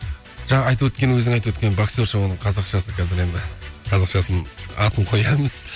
жаңа айтып өткен өзің айтып өткен боксерша оның қазақшасы қазір енді қазақшасын атын қоямыз